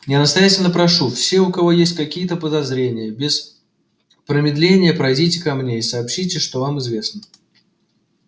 я настоятельно прошу все у кого есть хоть какие-то подозрения без промедления пройдите ко мне и сообщите что вам известно